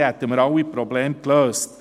Dann hätten wir alle Probleme gelöst.